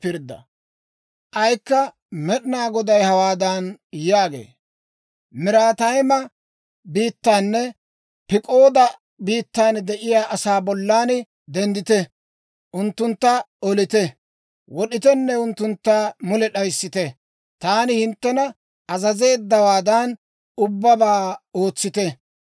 K'aykka Med'inaa Goday hawaadan yaagee; «Miraatayima biittaanne Pik'ooda biittan de'iyaa asaa bollan denddite; unttuntta olite, wod'itenne unttuntta mule d'ayissite. Taani hinttena azazeeddawaadan ubbabaa ootsite.